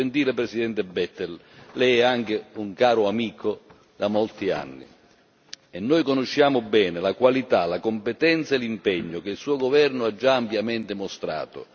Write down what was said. Gentile Presidente Bettel, lei è anche un caro amico da molti anni e noi conosciamo bene la qualità, la competenza e l'impegno che il suo governo ha già ampiamente mostrato.